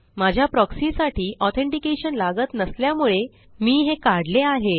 माझ्या प्रॉक्सी साठी ऑथेंटिकेशन लागत नसल्यामुळे मी हे काढले आहे